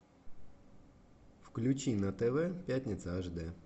включи на тв пятница аш дэ